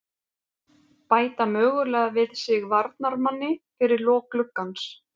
Bæta mögulega við sig varnarmanni fyrir lok gluggans.